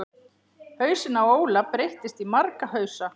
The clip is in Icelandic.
Hausinn á Óla breytist í marga hausa.